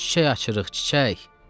Çiçək açırıq, çiçək.